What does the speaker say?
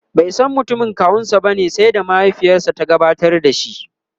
baisan mutumin kawunsa bane sai da mahaifiyarsa ta gabatar da shi